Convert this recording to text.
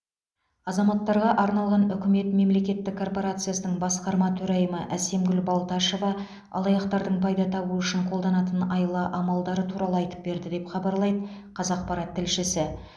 азаматтарға арналған үкімет мемлекеттік корпорациясының басқарма төрайымы әсемгүл балташева алаяқтардың пайда табу үшін қолданатын айла амалдары туралы айтып берді деп хабарлайды қазақпарат тілшісі